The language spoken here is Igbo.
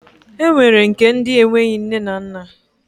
E nwere nke ndi enweghị nne na nna.